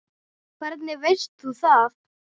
Hvernig veist þú það?